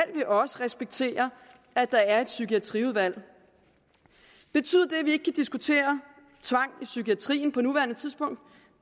vi også respektere at der er et psykiatriudvalg betyder det at vi ikke kan diskutere tvang i psykiatrien på nuværende tidspunkt